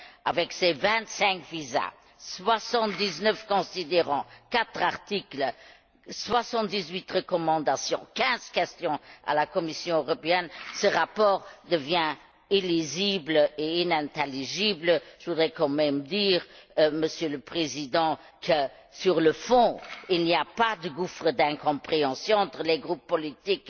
Avec ses vingt cinq visas, soixante dix neuf considérants, quatre articles, soixante dix huit recommandations, quinze questions à la Commission européenne, ce rapport devient illisible et inintelligible. Je voudrais quand même dire, Monsieur le Président, que sur le fond il n'y a pas de gouffre d'incompréhension entre les groupes politiques,